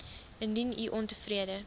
indien u ontevrede